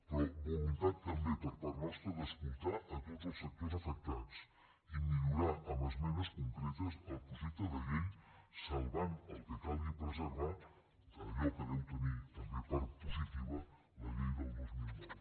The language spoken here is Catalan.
però voluntat també per part nostra d’escoltar a tots els sectors afectats i millorar amb esmenes concretes el projecte de llei salvant el que calgui preservar allò que deu teniu també de part positiva la llei del dos mil nou